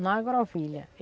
Na agrovilha.